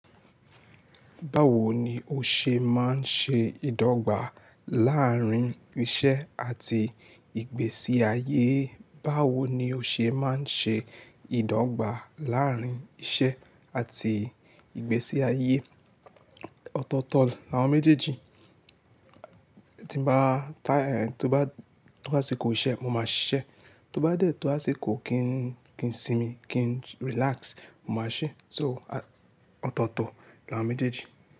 Báwo ni o ṣe máa ń ṣe ìdọ́gba láàrín iṣẹ́ àti ìgbésí ayé? Báwo ni o ṣe máa ń ṣe ìdọ́gba láàrín iṣẹ́ àti ìgbésí ayé? Ọ̀tọ̀ọ̀tọ̀ ni àwọn méjèèjì. Tí bá tá, tí ó bá, tí ó bá to aṣikó iṣẹ́, mo máa ṣiṣẹ́. Tí ó bá dé tó áṣikò kí n, kí n sinmi, kí n relax, mo máa ṣẹ. So, ọ̀tọ̀ọ̀tọ̀ ni àwọn méjèèjì.